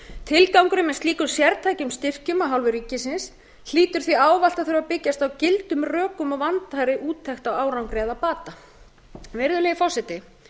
tilgangurinn með slíkum sértækum styrkjum af hálfu ríkisins hlýtur því ávallt að þurfa að byggjast á gildum rökum og vandaðri úttekt á árangri eða bata virðulegi forseti